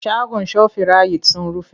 Shagon shofirayit sun rufe.